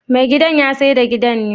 me gidan yasaida gidan ne?